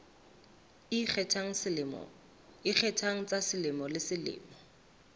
ikgethang tsa selemo le selemo